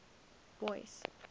boyce